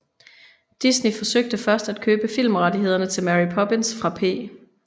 Disney forsøgte først at købe filmrettghederne til Mary Poppins fra P